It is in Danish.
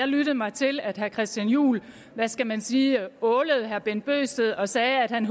lyttede mig til at herre christian juhl hvad skal man sige ålede herre bent bøgsted og sagde at han